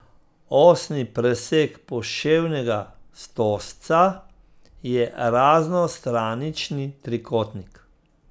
Osni presek poševnega stožca je raznostranični trikotnik.